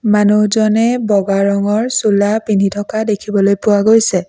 মানুহজনে বগা ৰঙৰ চোলা পিন্ধি থকা দেখিবলৈ পোৱা গৈছে।